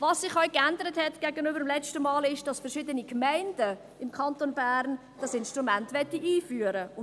Was sich gegenüber dem letzten Mal auch geändert hat, ist, dass verschiedene Gemeinden im Kanton Bern dieses Instrument einführen wollen.